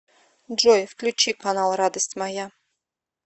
джой включи канал радость моя